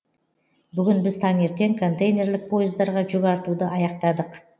бүгін біз таңертең контейнерлік пойыздарға жүк артуды аяқтадық